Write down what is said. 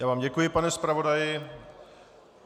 Já vám děkuji, pane zpravodaji.